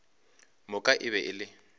moka e be e le